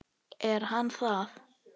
Er hann það?